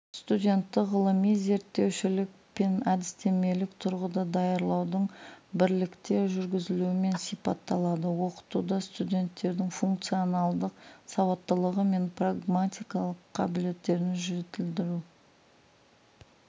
студентті ғылыми-зерттеушілік пен әдістемелік тұрғыда даярлаудың бірлікте жүргізілуімен сипаталады оқытуда студенттердің функционалдық сауаттылығы мен прагматикалық қабілеттерін жетілдіру